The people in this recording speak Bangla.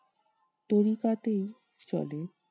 তড়িপাতে চলে।